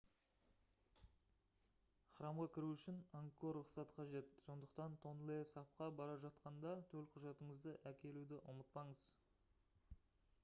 храмға кіру үшін ангкор рұқсаты қажет сондықтан тонле сапқа бара жатқанда төлқұжатыңызды әкелуді ұмытпаңыз